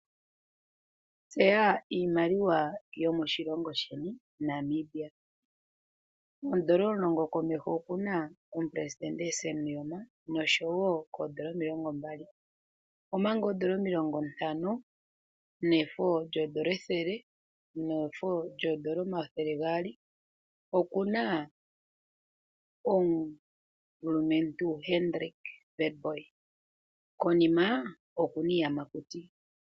Tseya iimaliwa yomoshilongo sheni Namibia. Oodola omulongo (N$10) komeho oku na omuperesidente Sam Nuujoma, noshowo koodola omilongo mbali, omanga oodola omilongo ntano, nefo lyoodola ethele, nefo lyoodola omathele gaali oku na omulumentu Hendrik Witbooi. Konima oku na iiyamakuti.